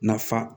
Naf